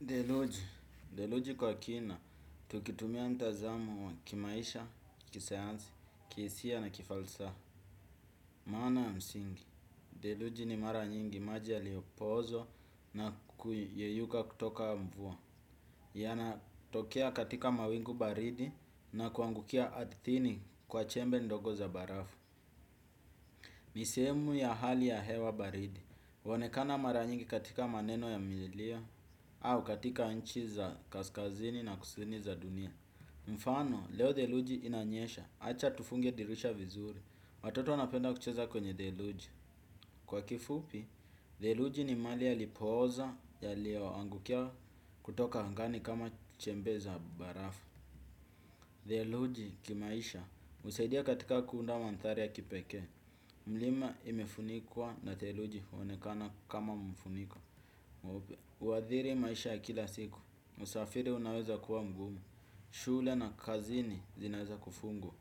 Deluji. Deluji kwa kina, tukitumia mtazamo wa kimaisha, kisayansi, kihisia na kifalsaha. Maana ya msingi. Theluji ni mara nyingi maji yaliopozwa na kuyayuka kutoka mvua. Yana tokea katika mawingu baridi na kuangukia ardhini kwa chembe ndogo za barafu. Ni sehemu ya hali ya hewa baridi. Huonekana mara nyingi katika maneno ya milia au katika nchi za kaskazini na kusini za dunia. Mfano, leo theluji inanyesha. Acha tufunge dirisha vizuri watoto napenda kucheza kwenye theluji. Kwa kifupi, theluji ni mali ya lipoza. Yaliyo angukia kutoka angani kama chembe za barafu theluji kimaisha husaidia katika kuunda mandhari ya kipekee. Mlima imefunikwa na theluji huonekana kama mfuniko mweupe huadhiri maisha kila siku. Msafiri unaweza kuwa mgumu. Shule na kazini zinaweza kufungwa.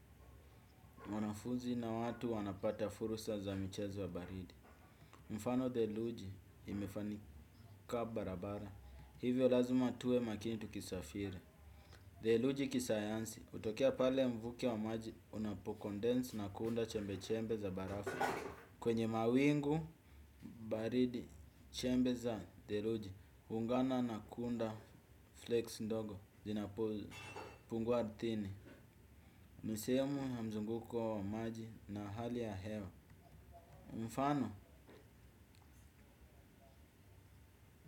Mwanafunzi na watu wanapata fursa za michezo baridi. Mfano theluji imefanyika barabara. Hivyo lazima tuwe makini tukisafiri. Theluji kisayansi hutokea pale mvuke wa maji unapocondense na kuunda chembe chembe za barafu. Kwenye mawingu, baridi, chembe za, theluji, huungana na kuunda flakes ndogo, zinapopungwa ardhini. Misemo na mzunguko wa maji na hali ya hewa. Mfano,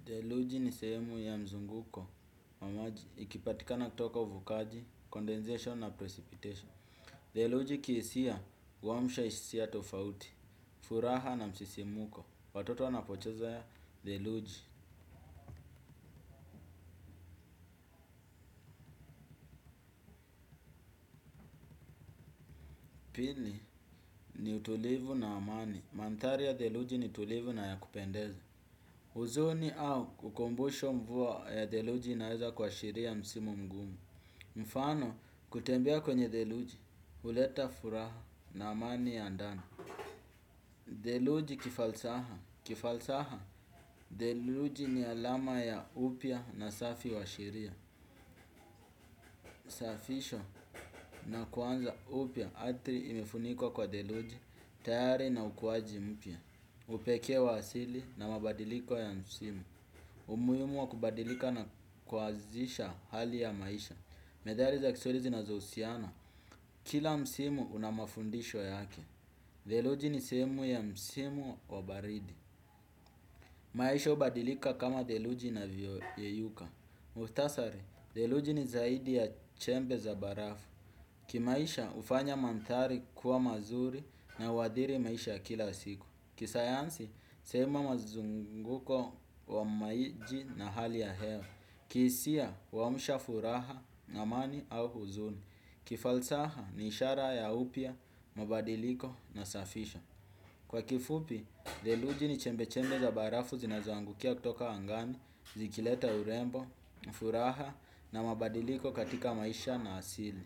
theluji ni sehemu ya mzunguko wa maji ikipatikana toka uvukaji, condensation na precipitation. Theluji kihisia, huamsha hisia tofauti, furaha na msisimko, watoto wanapocheza theluji. Pili ni utulivu na amani. Mandhari ya theluji ni tulivu na ya kupendeza. Huzuni au ukumbusho mvua ya theluji inaeza kuashiria msimu mgumu. Mfano kutembea kwenye theluji, huleta furaha na amani ya ndani. Deluji kifalsaha. Kifalsaha. Deluji ni alama ya upia na safi wa shiria. Safisho na kuanza upya ardhi imefunikwa kwa theluji, tayari na ukuaji mpya. Upekee wa asili na mabadiliko ya msimu. Umuhimu wa kubadilika na kuanzisha hali ya maisha. Medhali za kiswahili zinazohusiana kila msimu una mafundisho yake theluji ni sehemu ya msimu wa baridi. Maisha hubadilika kama theluji navyoyeyuka. Muhtasari, theluji ni zaidi ya chembe za barafu. Kimaisha hufanya mandhari kuwa mazuri na uhadhiri maisha ya kila siku. Kisayansi, sema mazunguko wa maji na hali ya hewa. Kihisia, huamsha furaha na amani au huzuni. Kifalsaha, ni ishara ya upya, mabadiliko nasafisha. Kwa kifupi, theluji ni chembe chembe za barafu zinazoangukia kutoka angani. Zikileta urembo, furaha na mabadiliko katika maisha na asili.